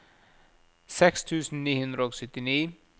seks tusen ni hundre og syttini